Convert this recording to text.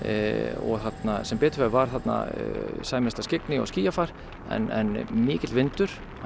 og sem betur fer var þarna sæmilegasta skyggni og skýjafar en mikill vindur hann